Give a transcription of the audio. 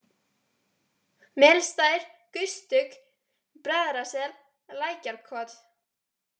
Melstaðir, Gustuk, Bræðrasel, Lækjarkot